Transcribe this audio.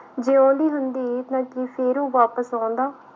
ਜਿਉਂਦੀ ਹੁੰਦੀ ਨਾ ਕੀ ਫਿਰ ਉਹ ਵਾਪਸ ਆਉਂਦਾ।